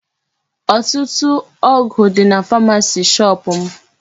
Ọtụtụ ọgụ dị na pharmacy shop m.